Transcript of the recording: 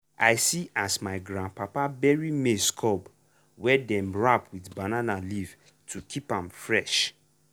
correct storage dey help us get food even when farming no dey go on.